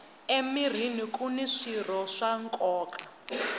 emirhini kuni swirho swa nkoka